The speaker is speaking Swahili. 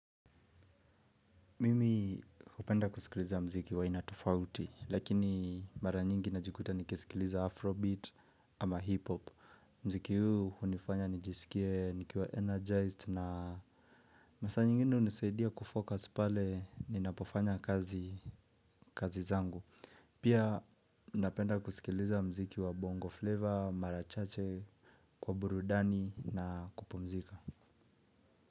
Mimi hupenda kusikiliza mziki wa aina tofauti, lakini mara nyingi najikuta nasikiliza afrobeat ama hip-hop. Mziki huu unifanya nijisikie, nikiwa energized na masaa nyingine unisaidia kufocus pale ninapofanya kazi zangu. Pia napenda kusikiliza mziki wa bongo flavor, mara chache, kwa burudani na kupumzika.